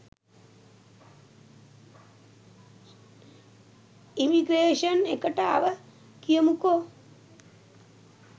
Immigration එකට ආව කියමුකො.